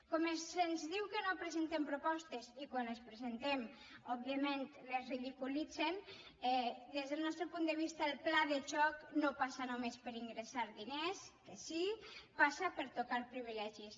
com se’ns diu que no presentem propostes i quan les presentem òbviament les ridiculitzen des del nostre punt de vista el pla de xoc no passa només per ingressar diners que sí passa per tocar privilegis